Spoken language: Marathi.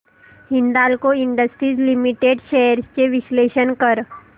हिंदाल्को इंडस्ट्रीज लिमिटेड शेअर्स चे विश्लेषण कर